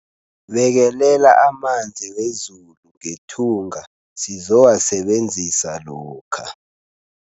Bekelela amanzi wezulu ngethunga sizowasebenzisa lokha.